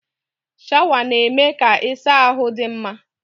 Shawa na-eme ka ịsa ahụ dị mfe.